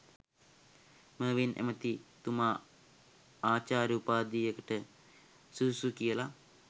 මර්වින් ඇමති ථුමාඅ ආචාර්ය උපාදියකට සුදුසුයි කියලා?